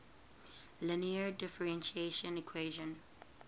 linear differential equation